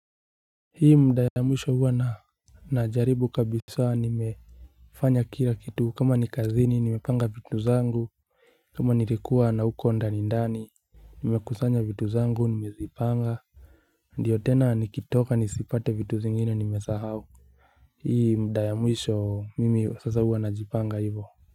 Hii muda ya mwisho huwa na najaribu kabisa nimefanya kila kitu kama ni kazini nimepanga vitu zangu kama nilikuwa na huko ndani ndani Nimekusanya vitu zangu nimevipanga Ndio tena nikitoka nisipate vitu zingine nimesahau Hii muda ya mwisho mimi sasa huwa najipanga hivo.